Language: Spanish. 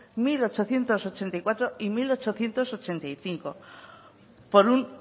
mil ochocientos ochenta y cuatro y mil ochocientos ochenta y cinco por un